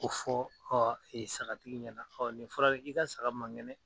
O fɔ sagatigi ɲɛna nin fɔra dɛ k'i ka saga man kɛnɛ.